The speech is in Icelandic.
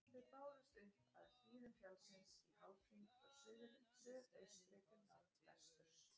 þau bárust upp af hlíðum fjallsins í hálfhring frá suðaustri til norðvesturs